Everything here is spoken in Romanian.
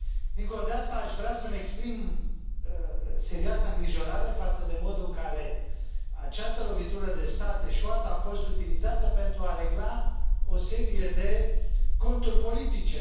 Dincolo de asta, aș vrea să mi exprim serioasa îngrijorare față de modul în care această lovitură de stat eșuată a fost utilizată pentru a regla o serie de conturi politice.